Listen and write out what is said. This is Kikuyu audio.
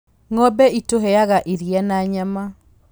Ng'ombe ĩtũheaga iria na nyama.